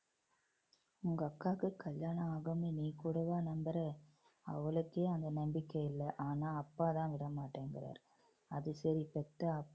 உங்க அக்காக்கு கல்யாணம் ஆகும்னு நீ கூடவா நம்புற அவளுக்கே அந்த நம்பிக்கை இல்லை ஆனா அப்பாதான் விட மாட்டேங்குறாரு அது சரி பெத்த